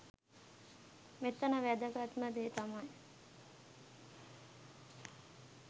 මෙතන වැදගත්ම දේ තමයි